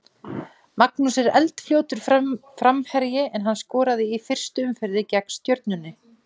Magnús er eldfljótur framherji en hann skoraði í fyrstu umferðinni gegn Stjörnunni.